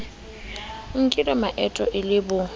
nkile maeto e le bo